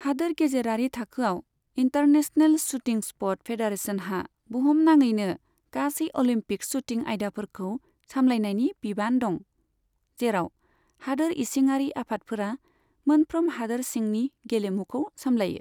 हादोर गेजेरारि थाखोआव, इन्टारनेशनेल शूटिं स्पर्ट फेडारेशनहा बुहुनाङैनो गासै अलिम्पिक शूटिं आयदाफोरखौ सामलायनायनि बिबान दं, जेराव हादोर इसिङारि आफादफोरा मोनफ्रोम हादोर सिंनि गेलेमुखौ सामलायो।